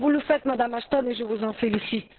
Vous le faites, Madame Ashton, et je vous en félicite.